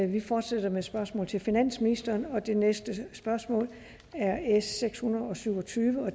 vi fortsætter med spørgsmål til finansministeren og det næste spørgsmål er s seks hundrede og syv og tyve